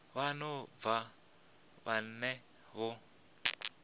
vha no bva venḓa vho